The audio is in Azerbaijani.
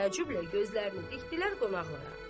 Və təəccüblə gözlərini dikdilər qonaqlara.